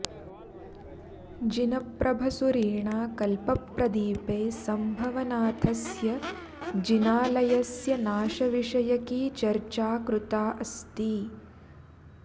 जिनप्रभसूरिणा कल्पप्रदीपे सम्भवनाथस्य जिनालयस्य नाशविषयिकी चर्चा कृता अस्ति